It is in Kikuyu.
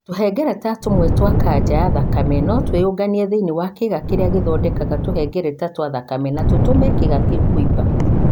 Tũhengereta tũmwe twa kanca ya thakame no twĩyũnganie thĩinĩ wa kĩĩga kĩrĩa gĩthondekaga tũhengereta twa thakame na tũtũme kĩĩga kĩu kũimba.